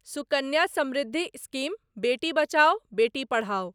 Sukanya Samriddhi scheme Beti Bachao Beti Padhao